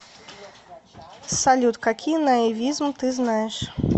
салют какие наивизм ты знаешь